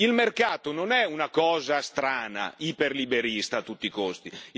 Il mercato non è una cosa strana, iperliberista a tutti i costi.